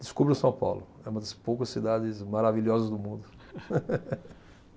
Descubra São Paulo, é uma das poucas cidades maravilhosas do mundo.